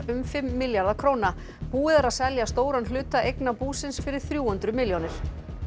um fimm milljarða króna búið er að selja stóran hluta eigna búsins fyrir þrjú hundruð milljónir